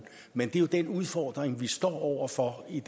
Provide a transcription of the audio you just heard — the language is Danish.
men det er jo den udfordring vi står over for i